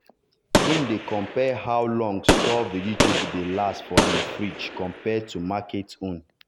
him dey compare how long store vegetable dey last for him fridge compared to market own.